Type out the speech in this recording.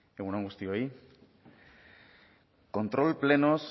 egun on guztioi kontrol plenoz